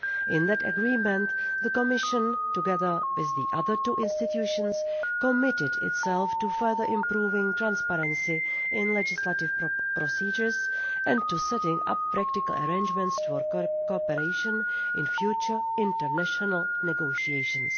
In that agreement, the Commission together with the other two institutions committed itself to further improving transparency in legislative procedures, and to setting up practical arrangements for cooperation in future international negotiations.